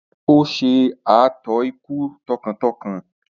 Ó ṣe ààtò ikú tọkàntọkàn.